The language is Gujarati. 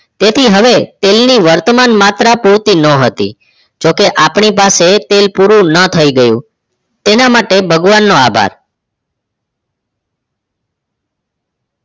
તેથી હવે તેલ ની વર્તમાન માત્રા પૂરતી ન હતી જોકે આપણી પાસે તેલ પૂરું ન થી ગયું તેના માટે ભગવાન નો આભાર